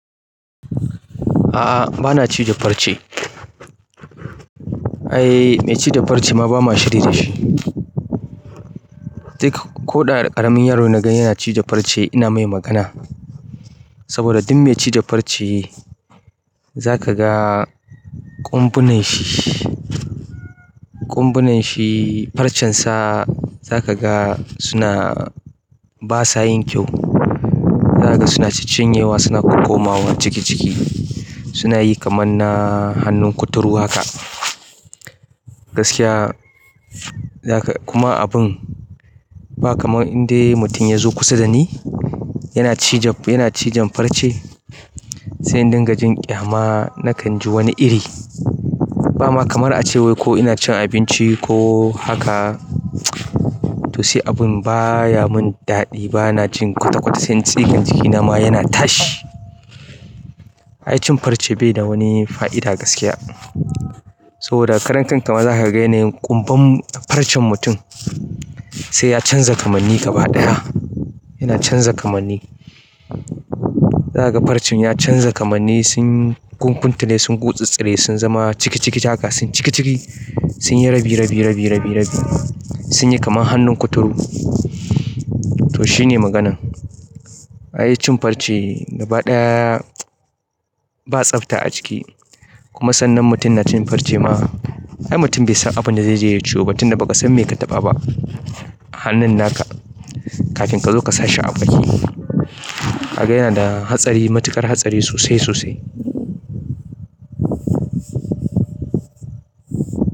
A'a bana cije farce. Ai mai ci da farce ma bama shiri dashi, duk koda ƙaramin yaro naga yana cije farce saboda duk me cije farce za ka ga ƙumbunan shi, ƙumbunan shi farcen sa za ka ga suna basa yin kyau. Za ka ga suna ciccinyewa suna kokkomawa ciki ciki. Suna yi kaman na hannun kuturu haka. Gaskiya za ka kuma abun ba kamar in dai mutum ya zo kusa da ni yana cije, yana cijen farce sai in ɗinka jin ƙyama na kan ji wani iri. Ba ma kamar a cewa ko ina cin abinci ko haka to sai abun baya mun daɗi bana jin kwata kwata sai tsigan jiki na ma yana tashi. Ai cin farce bai da wani fa'ida gaskiya. So da karen kanka ma za ka yanayin ƙumbar farcen mutum sai ya canza ƙarni gaba ɗaya. Yana canza kamanni. Za ka ga farcen ya canza kamanni sun ƙunkuntane sun gutsutsire sun zama ciki ciki haka sun ciki ciki sun yi rabi rabi rabi rabi sun yi kaman hannun kuturu. To shine maganan. Ai cin farce gaba ɗaya ba tsabta a ciki kuma sannan mutum na cin farce ma ai mutum bai san abin da zaije ya ciyo ba tun da ba ka san me ka taɓa ba. Hannun naka kafin ka zo ka sashi a baki. Haka yana da hatsari matuƙar hatsari sosai sosai.